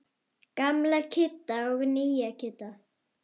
Gamla Kidda og nýja Kidda.